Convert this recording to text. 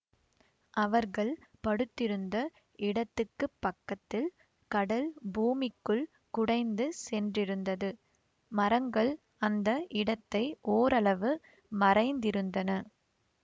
அவர்கள் படுத்திருந்த இடத்துக்குப்பக்கத்தில் கடல் பூமிக்குள் குடைந்து சென்றிருந்தது மரங்கள் அந்த இடத்தை ஓரளவு மறைந்திருந்தன